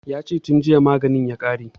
Ya ce tun jiya maganin ya ƙare